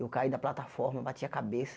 Eu caí da plataforma, eu bati a cabeça.